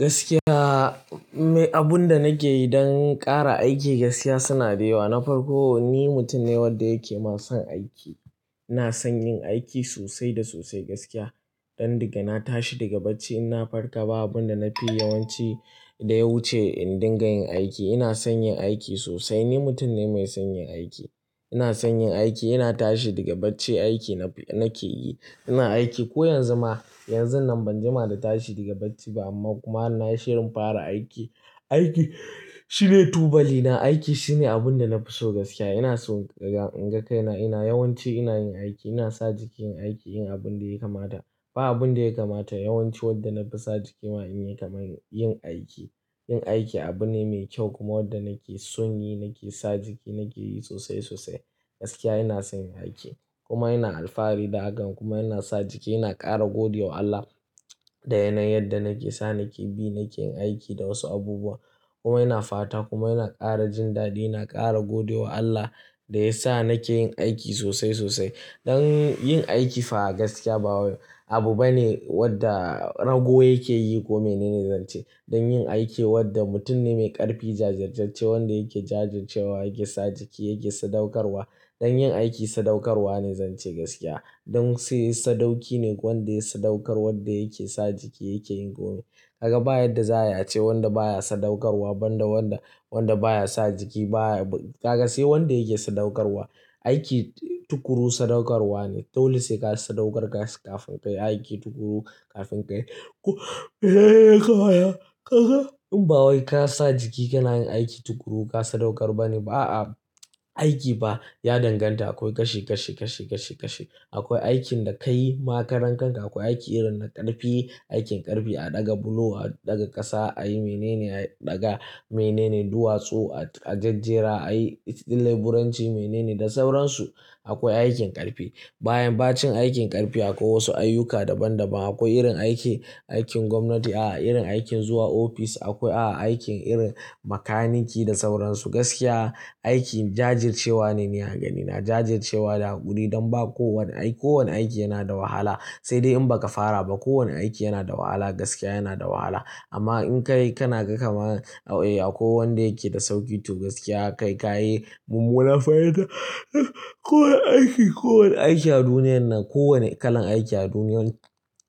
Gaskiya, in nai abun da nake yi don ƙara aiki gaskiya suna da yawa. Na farko ni mutum ne wadda yake ma son aiki. Ina son yin aiki sosai da sosai gaskiya. Don daga na tashi daga bacci in na farka ba abin da nafi yawanci da ya wuce in dinga yin aiki. Ina son yin aiki sosai. Ni mutum ne mai son yin aiki. Ina son yin aiki, ina tashi daga bacci aiki nake yi. Ina aiki ko yanzu ma yanzun nan ban jima da tashi daga bacci ba amma kuma har nayi shirin fara aiki. Aiki shine tubali na, aiki shine abin da na fi so gaskiya. Ina so in ga in ga kaina ina yawanci ina yin aiki, ina sa jiki in aiki, in abin da ya kamada. Ba abin da ya kamata yawanci wanda nafi sa jiki ma in yi kamar yin aiki. Yin aiki abu ne mai kyau kuma wanda nake son yi, nake sa jiki, nake yi sosai sosai. Gaskiya ina son yin aiki kuma ina alfahari da hakan kuma ina sa jiki ina ƙara gode wa Allah da yanayin yadda nake sa nake bi nake yin aiki da wasu abubuwa. Kuma ina fata kuma ina ƙara jin daɗi, ina ƙara gode wa Allah da ya sa nake yin aiki sosai sosai. Don yin aiki fa gaskiya ba abu bane wadda rago yake yi ko mene ne zance. Don yin aiki wadda mutum ne mai ƙarfi jajirjacce wanda yake jajircewa yake sa jiki yake sadaukarwa. Don yin aiki sadaukarwa ne zance gaskiya. Don sai sadauki ne wanda ya sadaukar wadda yake sa jiki yake yin komai. Kaga ba yadda za ai ace wanda baya sadaukarwa, ban da wanda wanda baya sa jiki baya. Kaga sai wanda yake sadaukarwa. Aiki tukuru sadaukarwa ne. Dole sai ka sadaukar kas kafin kai aiki tukuru kafin kai. Kaga in ba wai ka sa jiki ka na yin aiki tukuru, ka sadaukar ba ne ba a'a. Aiki fa ya danganta akwai kashi, kashi, kashi, kashi, kashi. Akwai aikin da kai ma karan kanka akwai aiki irin na ƙarfi, aikin ƙarfi a ɗaga bulo, a ɗaga ƙasa, a yi mene ne a ɗaga mene ne duwatsu a jajjera, a yi laburanci mene ne da sauransu. Akwai aikin ƙarfi. Bayan bacin aikin ƙarfi akwai wasu ayyuka daban daban. Akwai irin aiki, aikin gwamnati, a'a irin aikin zuwa ofis akwai a'a aikin irin makaniki da sauransu. Gaskiya aiki jajircewa ne ni a ganina. Jajircewa da haƙuri don ba kowane aiki kowane aiki yana da wahala. Sai dai in ba ka fara ba kowane aiki yana da wahala gaskiya yana da wahala. Amma in ka yi ka na ga kaman, e akwai wanda yake da sauƙi to gaskiya kai ka yi mummunan fahinta. Ko wanne aiki, ko wanne aiki a duniyar nan, ko wanne kalan aiki a duniyar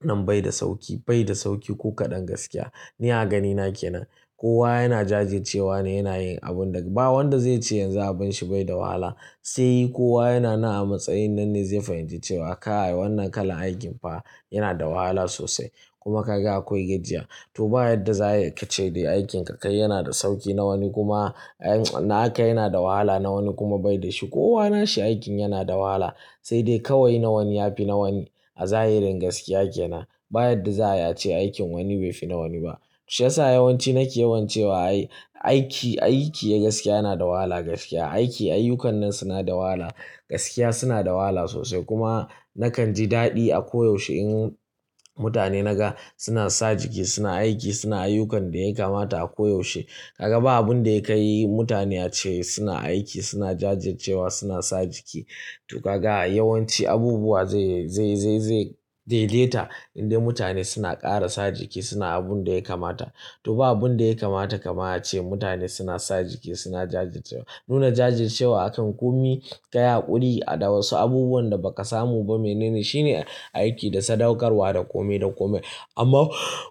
nan bai da sauƙi, bai da sauƙi ko kaɗan gaskiya. Ni a ganina ke nan kowa yana jajircewa ne yana yin abun da ba wanda zai ce yanzu abun shi bai da wahala. Sai kowa yana nan a matsayin nan ne zai fahimci cewa kai wannan kalan aikin fa yana da wahala sosai kuma ka ga akwai gajiya. To ba yadda za ai ka ce dai aikinka kai yana da sauƙi na wani kuma naka yana da wahala na wani kuma bai da shi. Kowa nashi aikin yana da wahala sai dai kawai na wani ya fi na wani. A zahirin gaskiya ke nan. Ba yadda za ai ace aikin wani bai fi na wani ba. Shiyasa yawanci nake yawan cewa ai aiki, aiki gaskiya yana da wahala gaskiya. Aiki ayyukannan suna da wahala. Gaskiya suna da wahala sosai kuma nakan ji daɗi a ko yaushe in mutane naga suna sa jiki suna aiki suna ayyukan da ya kamata a ko yaushe. Kaga ba abun da ya kai mutane a ce suna aiki suna jajircewa suna sa jiki. To kaga yawanci abubuwa zai, zai, zai, zai daideta in dai mutane suna ƙara sa jiki suna abunda ya kamata. To ba abun da ya kamata kamar ace mutane suna sa jiki suna jajircewa. Nuna jajircewa akan komi, kai haƙuri da wasu abubuwan da ba ka samu ba mene ne shine aiki da sadaukarwa da komai da komai. Amma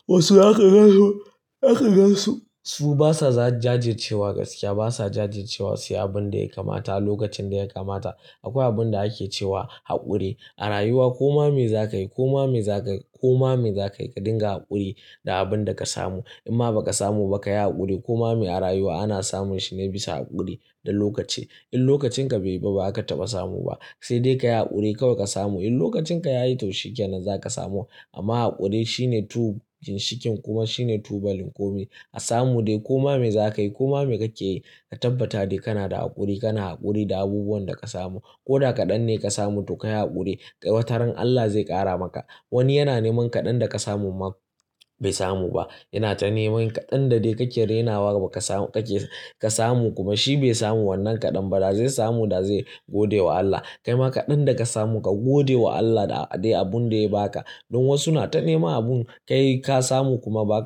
wasu zaka gan su, zaka gan su su basa za jajircewa gaskiya basa jajircewa suyi abunda ya kamata a lokacin da ya kamata. Akwai abun da ake cewa haƙuri. A rayuwa koma me za kai koma me za kai koma me za kai ka dinga haƙuri da abun da ka samu. In ma ba ka samu ba ka yi haƙuri. Koma me a rayuwa ana samun shi ne bisa haƙuri da lokaci. In lokacin ka bai ba bazaka taba samu ba. Sai dai ka yi haƙuri kawai ka samu. In lokacin ka ya yi to shikenan za ka samu. Amma haƙuri shine tu ginshikin kuma shine tubalin komai. A samu dai koma me za ka yi koma me kake yi ka tabbata dai kana da haƙuri kana haƙuri da abubuwan da ka samu. Ko da kaɗan ne ka samu to ka yi haƙuri. Wataran Allah zai ƙara maka. Wani yana neman kaɗan da ka samu ma bai samu ba. Yana ta neman kaɗan da dai kake rainawa ba ka samu kake ka samu kuma shi bai samu wannan kaɗan ba. Da zai samu da zai gode wa Allah. Kai ma kaɗan da ka samu ka gode wa Allah da dai abun da ya ba ka. Don wasu na ta nema abun kai ka samu kuma ba.